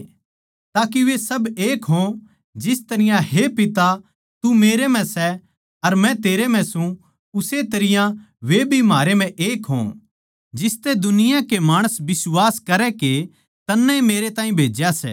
ताके वे सब एक हों जिस तरियां हे पिता तू मेरै म्ह सै अर मै तेरै म्ह सूं उस्से तरियां वे भी म्हारै म्ह एक हो जिसतै दुनिया के माणस बिश्वास करै के तन्नै ए मेरैताहीं भेज्या सै